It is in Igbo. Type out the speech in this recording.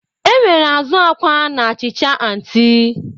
Enwere azu akwa na achịcha onti.